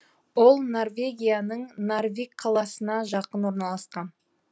ол норвегияның нарвик қаласына жақын орналасқан